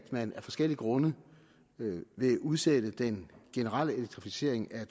man af forskellige grunde udsætte den generelle elektrificering af